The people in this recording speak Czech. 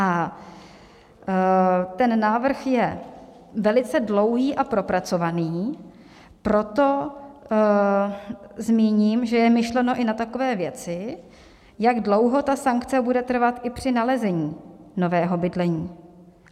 A ten návrh je velice dlouhý a propracovaný, proto zmíním, že je myšleno i na takové věci, jak dlouho ta sankce bude trvat i při nalezení nového bydlení.